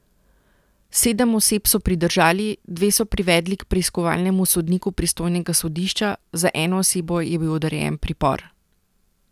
Sedem oseb so pridržali, dve so privedli k preiskovalnemu sodniku pristojnega sodišča, za eno osebo je bil odrejen pripor.